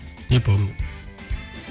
не помню